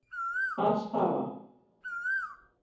Alls hafa